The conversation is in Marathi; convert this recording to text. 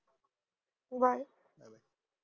bye